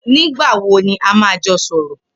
Nigbà wó ni à mà jọ sọrọ